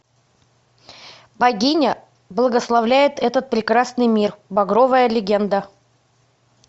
богиня благословляет этот прекрасный мир багровая легенда